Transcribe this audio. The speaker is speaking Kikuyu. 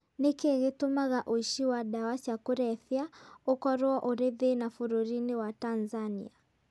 Nĩ kĩĩ gĩtũmaga ũici wa ndawa cia kũrebia ũkorũo ũrĩ thĩna bũrũri-inĩ wa Tanzania?